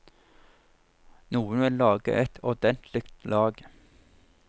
Noen vil lage et ordentlig lag.